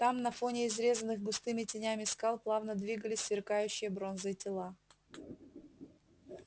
там на фоне изрезанных густыми тенями скал плавно двигались сверкающие бронзой тела